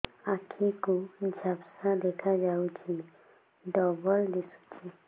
ଆଖି କୁ ଝାପ୍ସା ଦେଖାଯାଉଛି ଡବଳ ଦିଶୁଚି